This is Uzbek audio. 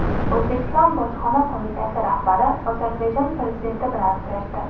O‘zbekiston bojxona qo‘mitasi rahbari Ozarbayjon prezidenti bilan uchrashdi.